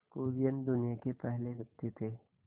कुरियन दुनिया के पहले व्यक्ति थे